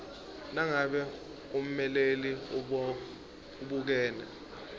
nangabe ummeleli ubukene